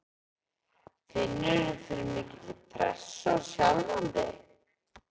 Finnurðu fyrir mikilli pressu á sjálfan þig?